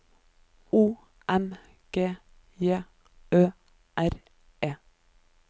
O M G J Ø R E